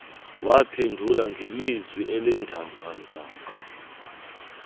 waphendula ngelizwi elindongondongo